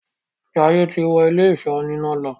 Jaiye tí wọ Ilé-ìṣọ́ oníná ló.